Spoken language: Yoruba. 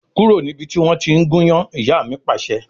Kúrò níbi tí wọn tí ń gúnyán! Ìyá mi Pàṣẹ.